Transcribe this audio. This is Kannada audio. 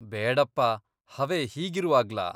ಬೇಡಪ್ಪಾ, ಹವೆ ಹೀಗಿರುವಾಗ್ಲಾ?